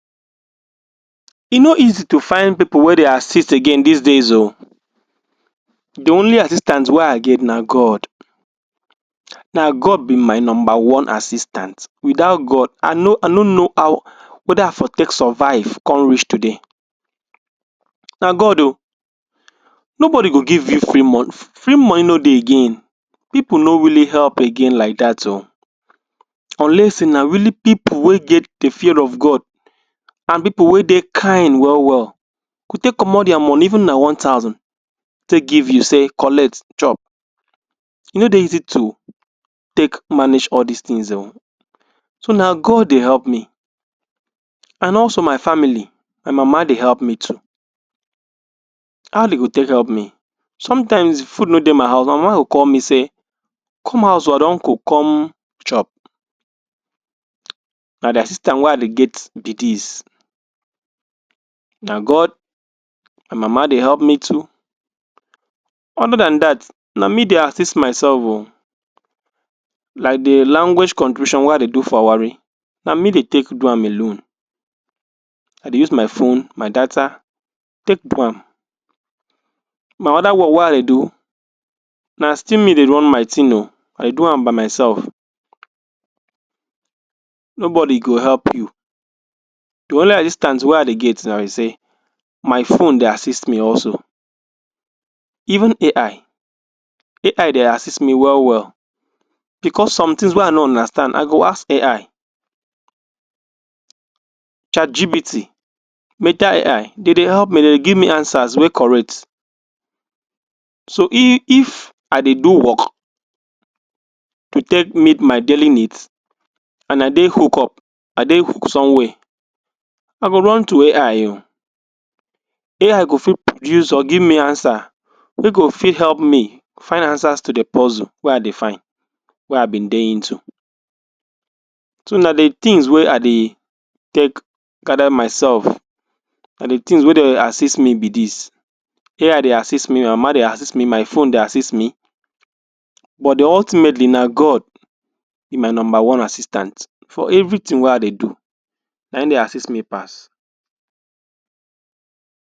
e no easy to find people wey dey assist agaain these days oo the Only assistance wey i get na God na God be my number one assis tant without God i know i know know how weather i go take survive come reach today na God Oo nobody go give you free mon free money no dey again people no really help again like that oo unless say na really people wey get the fear of God and people wey dey kind well well go take comot there money even na one thousand take give you say collect chop e no dey easy to take manage all this things o so na God dey help me and also my family my mama dey help me too Ali go take help me sometimes food no dey my house my mama go call me say come house oo i don cook come chop na de assistant wey i dey get be this na God and mama dey help me too other than that na me dey assist myself oo like the language wey i dey do for warri na me dey take do am alone i dey use my phone, my data take do am my other work wey i dey do na still me dey run my thing oo i do am by myself nobody go help you the only assistant wey i dey get now be say my phone dey assist me also even AI AI dey assist me well well because somethings wey i no understand i go ask AI chatGpt MetaAI dey dey help me dey dey give me answers wey correct so if i dey do work to take meet my daily needs and i dey hook up i dey hook somewhere i go run to AI oo Ai go fit produce or give me answer wey go fit help me find answers to the puzzle wey i dey find wey i been dey into so na de things wey i dey take gather myself na de thing wey dey assist me be this AI dey assist me my mama dey assit me, my phone dey assist me but ultimately na God be my number one assistant for everything wey i dey do na him dey assist me pass